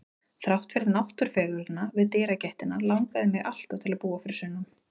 Þrátt fyrir náttúrufegurðina við dyragættina langaði mig alltaf til að búa fyrir sunnan.